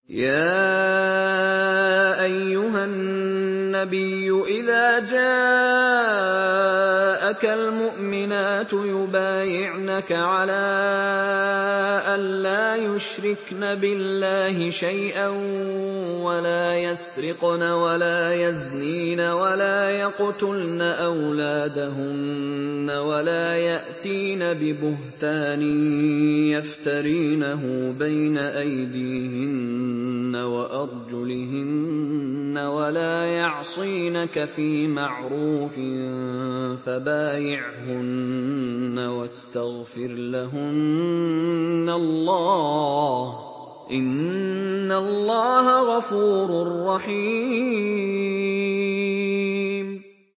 يَا أَيُّهَا النَّبِيُّ إِذَا جَاءَكَ الْمُؤْمِنَاتُ يُبَايِعْنَكَ عَلَىٰ أَن لَّا يُشْرِكْنَ بِاللَّهِ شَيْئًا وَلَا يَسْرِقْنَ وَلَا يَزْنِينَ وَلَا يَقْتُلْنَ أَوْلَادَهُنَّ وَلَا يَأْتِينَ بِبُهْتَانٍ يَفْتَرِينَهُ بَيْنَ أَيْدِيهِنَّ وَأَرْجُلِهِنَّ وَلَا يَعْصِينَكَ فِي مَعْرُوفٍ ۙ فَبَايِعْهُنَّ وَاسْتَغْفِرْ لَهُنَّ اللَّهَ ۖ إِنَّ اللَّهَ غَفُورٌ رَّحِيمٌ